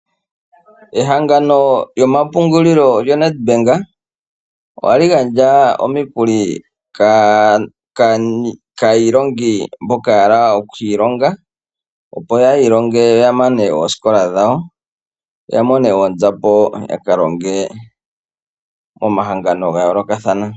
Ehangano lyomapungulilo lyoNedbank oha li gandja omikuli kaa iilongi mboko ya hala oku ilinga opo ya ilonge ya mane oosikola dhawo ya mone oonzapo ya kalonge momahangano ga yoolokathana.